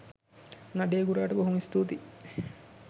නඩේ ගුරාට බොහොම ස්තූතියි.